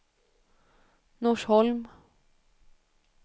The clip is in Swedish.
Norsholm